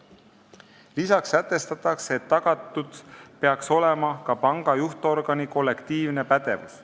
Lisaks sätestatakse, et peaks olema tagatud ka panga juhtorgani kollektiivne pädevus.